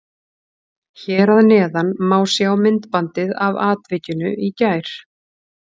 Hér að neðan má sjá myndbandið af atvikinu í gær.